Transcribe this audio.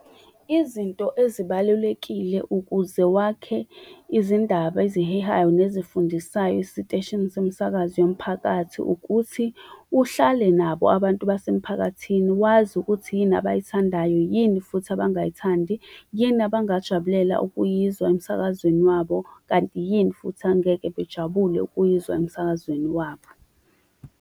Izinto ezibalulekile ukuze wakhe izindaba ezihehayo nezifundisayo esiteshini somsakazo yomphakathi, ukuthi uhlale nabo abantu basemphakathini wazi ukuthi yini abazithandayo yini, futhi abangathandi yini abangakujabulela ukuyizwa emsakazweni wabo kanti yini futhi angeke bejabule ukuyizwa emsakazweni wabo.